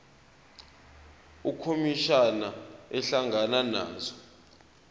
ukhomishana ehlangana nazo